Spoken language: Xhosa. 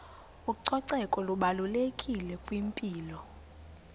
ucoceko lubalulekile kwimpilo